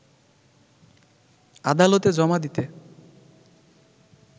আদালতে জমা দিতে